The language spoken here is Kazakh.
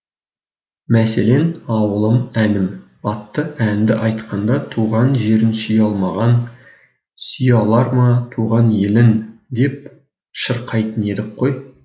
мәселен ауылым әнім атты әнді айтқанда туған жерін сүйе алмаған сүйе алар ма туған елін деп шырқайтын едік қой